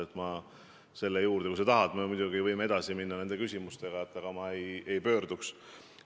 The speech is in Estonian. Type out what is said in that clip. Kui sa tahad selle teema juurde veel tagasi pöörduda, siis me muidugi võime edasi minna nende küsimustega, aga ma ei pöörduks.